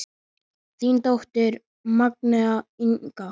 Þín dóttir, Magnea Inga.